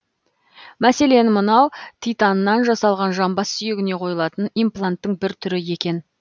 мәселен мынау титаннан жасалған жамбас сүйегіне қойылатын импланттың бір түрі екен